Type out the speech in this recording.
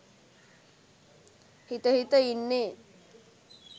හිත හිත ඉන්නේ.